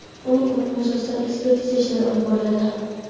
uning o‘limi yuzasidan ekspertiza ishlari olib boriladi.